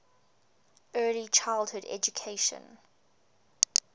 early childhood education